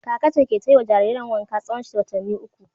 Kaka ce ke ta yi wa jaririn wanka tsawon watanni uku.